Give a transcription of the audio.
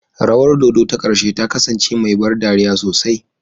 Rawar dodo ta ƙarshe ta kasance mai ban dariya sosai.